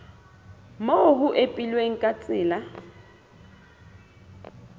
moo ho ipehilweng ka tsela